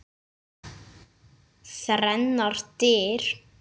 Þrennar dyr.